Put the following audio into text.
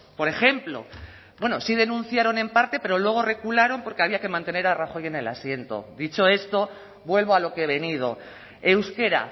por ejemplo bueno sí denunciaron en parte pero luego regularon porque había que mantener a rajoy en el asiento dicho esto vuelvo a lo que he venido euskera